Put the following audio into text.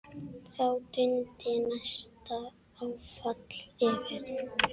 Þá dundi næsta áfall yfir.